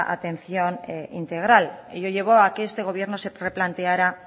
atención integral y lo llevo a que este gobierno se replanteara